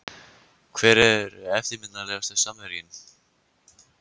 Hver er eftirminnilegasti samherjinn?